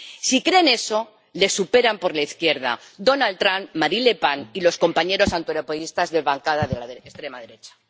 Si creen eso, les superan por la izquierda Donald Trump, Marine Le Pen y los compañeros antieuropeístas de la bancada de la extrema derecha.